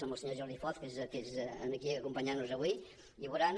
amb el senyor jordi foz que és aquí acompanyant nos avui i veuran